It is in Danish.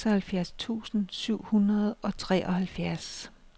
seksoghalvfjerds tusind syv hundrede og treoghalvfjerds